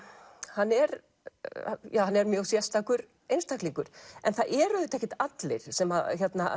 hann er hann er mjög sérstakur einstaklingur en það eru auðvitað ekkert allir sem